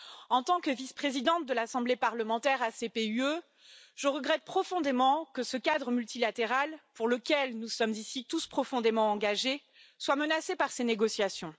En tant que vice présidente de l'Assemblée parlementaire ACP UE, je regrette profondément que ce cadre multilatéral, pour lequel nous sommes ici tous profondément engagés, soit menacé par ces négociations.